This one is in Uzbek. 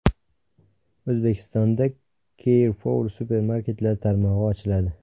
O‘zbekistonda Carrefour supermarketlar tarmog‘i ochiladi.